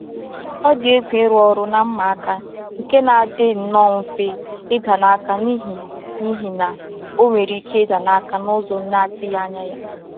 Ọ dị egwu ịrụ ọrụ na mma aka nke na-adị nnọọ mfe ịda n’aka n’ihi n’ihi na ọ nwere ike ịda n’aka n’ụzọ na-atụghị anya ya.